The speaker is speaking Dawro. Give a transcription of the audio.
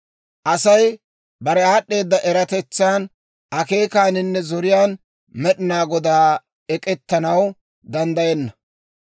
Asay bare aad'd'eeda eratetsan, akeekaaninne zoriyaan Med'inaa Godaana ek'ettanaw danddayenna.